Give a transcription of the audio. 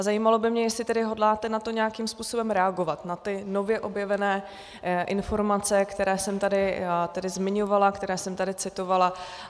Za zajímalo by mě, jestli tedy hodláte na to nějakým způsobem reagovat, na ty nově objevené informace, které jsem tady zmiňovala, které jsem tady citovala.